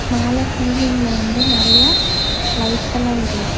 மேல சீலிங்ல வந்து நெறைய லைட்ஸ் எல்லா எரிது.